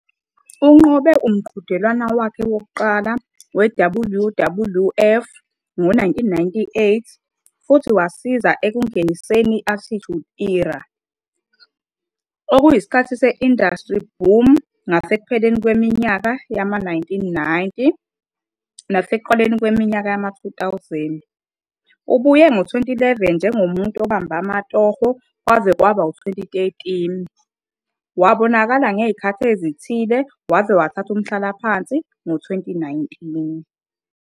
Unqobe umqhudelwano wakhe wokuqala we-WWF ngo-1998 futhi wasiza ekungeniseni i-Attitude Era, okuyisikhathi se-industry boom ngasekupheleni kweminyaka yama-1990 nasekuqaleni kweminyaka yama-2000. Ubuye ngo-2011 njengomuntu obambe amatoho kwaze kwaba u-2013, wabonakala ngezikhathi ezithile waze wathatha umhlalaphansi ngo-2019.